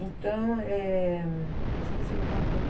Então, é... Esqueci o que eu estava falando.